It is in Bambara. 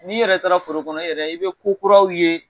N'i yɛrɛ taara foro kɔnɔ, i yɛrɛ i bɛ ko kuraraw ye.